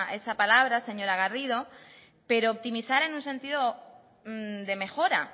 esa palabra señora garrido pero optimizar en un sentido de mejora